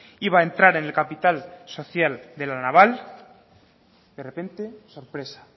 iba a entrar en el capital social de la naval de repente sorpresa